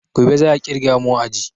Gobe za a ƙirga mu a aji